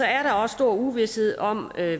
er der også stor uvished om